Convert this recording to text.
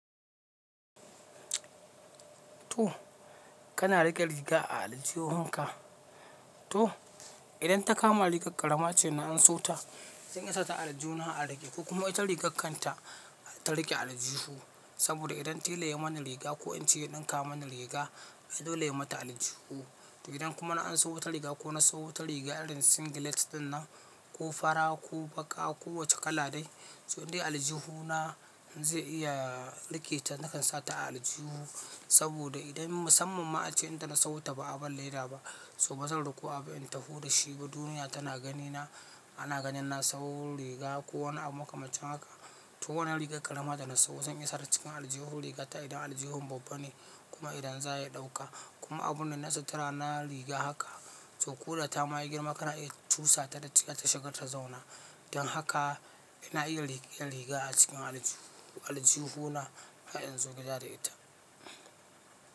To kana riƙe riga a aljihunka. To idan ta kama rigar ƙarama ce na an so ta, zan iyasa ta aljihu na a riƙe ko kuma ita rigar kanta ta riƙe aljihu, saboda idan tela ya mana riga ko ince ya ɗinka mana riga, ai dole ya mata aljihu. Idan kuma na an so wata riga ko na sawu ta riga irin singlet ɗin nan ko fara ko baƙa ko wacce kala dai, so in dai aljihu na zai iya riƙe ta, nakan sa ta aljihu saboda idan musamman ma ace inda na sawo ta ba a ban leda ba, so bazan riko abu in taho da shi ba duniya tana gani na ana ganin na sawo riga ko wani abu makamancin haka. To wannan rigar ƙarama da na sawo zan iyasa ta cikin aljihun rigata idan aljihin babba ne kuma idan za ya ɗauka. Kuma abun da na sata rana riga haka, to koda ta mayi girma kana iya cusa ta ta shiga ta zauna. Don haka ina iya riƙe riga a cikin aljihuna in zo gida da ita.